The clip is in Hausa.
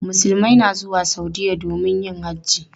Musulmai na zuwa Saudiya domin yin hajji.